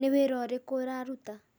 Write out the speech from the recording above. Nĩ wĩra ũrĩkũ ũraruta?